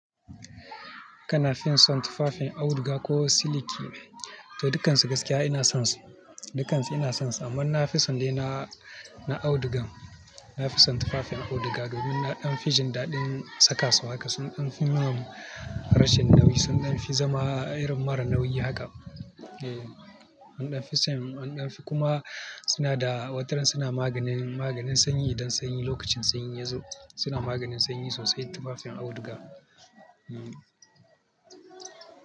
Kana fin son tufafin auduga ko siliki? To, dukkansu gaskiya ina son su. Dukkansu ina son su amma na fi son dai na, na audugan. Na fi son tufafin auduga domin an fi jin daɗin saka su haka sun fi mun rashin nauyi. Sun ɗan fi zama irin mara nauyi haka, eh. An ɗanfi son, an ɗan fi kuma suna da wataran suna maganin, maganin sanyi idan sanyi, lokacin sanyi ya zo suna maganin sanyi sosai tufafin auduga, hmm.